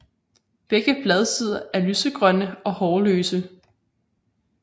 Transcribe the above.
Begge bladsider er lysegrønne og hårløse